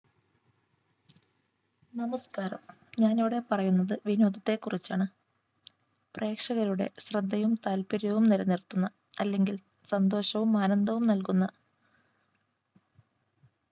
നമസ്കാരം ഞാനിവിടെ പറയുന്നത് വിനോദത്തെ കുറിച്ചാണ് പ്രേക്ഷകരുടെ ശ്രദ്ധയും താല്പര്യവും നിലനിർത്തുന്ന അല്ലെങ്കിൽ സന്തോഷവും ആനന്ദവും നൽകുന്ന